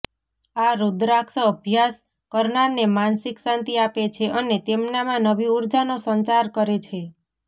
આ રુદ્રાક્ષ અભ્યાસ કરનારને માનસિક શાંતિ આપે છે અને તેમનામાં નવી ઉર્જાનો સંચાર કરે છે